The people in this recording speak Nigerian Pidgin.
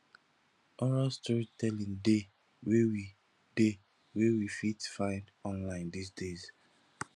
oral storytelling de wey we de wey we fit find online these days